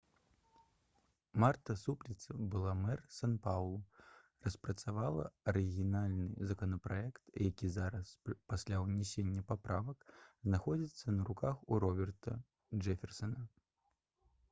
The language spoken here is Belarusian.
марта супліца былы мэр сан-паўлу распрацавала арыгінальны законапраект які зараз пасля ўнясення паправак знаходзіцца на руках у роберта джэферсана